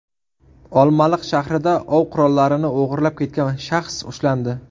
Olmaliq shahrida ov qurollarini o‘g‘irlab ketgan shaxs ushlandi.